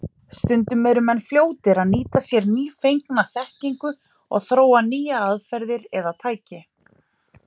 Stundum eru menn fljótir að nýta sér nýfengna þekkingu og þróa nýjar aðferðir eða tæki.